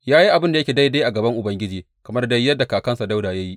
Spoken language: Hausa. Ya yi abin da yake daidai a gaban Ubangiji, kamar dai yadda kakansa Dawuda ya yi.